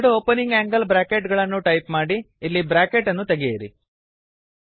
ಎರಡು opening angle bracket ಗಳನ್ನು type ಮಾಡಿ ಇಲ್ಲಿ ಬ್ರಾಕೆಟ್ ಅನ್ನು ತೆಗೆಯಿರಿ